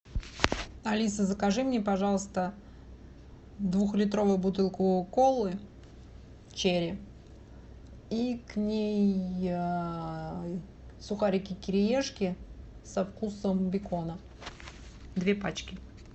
алиса закажи мне пожалуйста двухлитровую бутылку колы черри и к ней сухарики кириешки со вкусом бекона две пачки